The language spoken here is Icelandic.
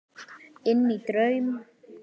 Inní draum.